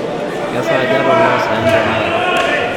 kesaaja te oloosyen tenakata